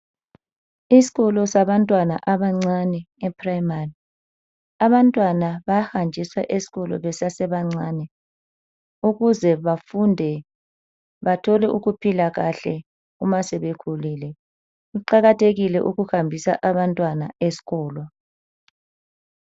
Isikolo sabantwana abancane ephrayimari abantwana bayahanjiswa esikolo besesabancane ukuze bafunde bathole ukuphila kahle uma sebekhulile, kuqakathekile ukuhambisa abantwana esilolo.